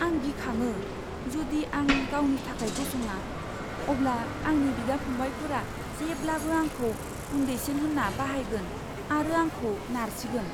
आं गिखाङो! जुदि आं गावनि थाखाय गसङा, अब्ला आंनि बिदा फंबायफोरा जेब्लाबो आंखौ उन्दैसिन होनना बाहायगोन आरो आंखौ नारसिगोन।